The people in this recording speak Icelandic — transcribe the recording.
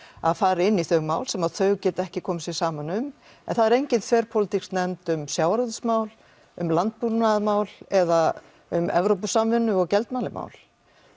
að fara inn í þau mál sem þau geta ekki komið sér saman um en það er engin þverpólitísk nefnd um sjávarútvegsmál um landbúnaðarmál eða um Evrópusamvinnu og gjaldmiðlamál